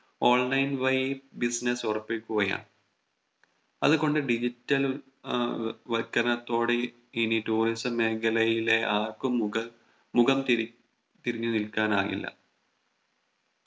online വഴി Business ഉറപ്പിക്കുകയാണ് അതുകൊണ്ട് Digital ആഹ് വക്കനത്തോടെ ഇനി Tourism മേഖലയിലെ ആർക്കും മുഖം മുഖം തിരി തിരിഞ്ഞു നിൽക്കാൻ ആകില്ല